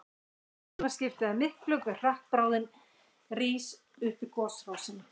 Þess vegna skiptir það miklu hve hratt bráðin rís upp gosrásina.